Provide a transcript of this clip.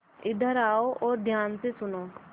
इधर आओ और ध्यान से सुनो